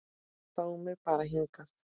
Fá mig bara hingað.